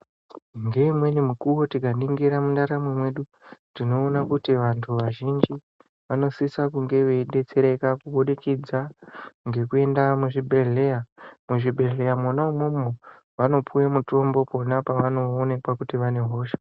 Ngeimweni mukuvo tikaingira mundaramo mwedu tinoona kuti vantu vazhinji vanosise kunge veibetsereka ngekubudikidza ngekuende muzvibhedhleya. Muzvibhedhleya mwona imwomwo vanopiwa mutombo pona pavanoonekwa kuti vane hosha.